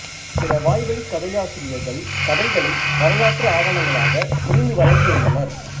பிற வாய்வழிக் கதையாசிரியர்கள் கதைகளை வரலாற்று ஆவணங்களாக புரிந்து வழங்கியுள்ளனர்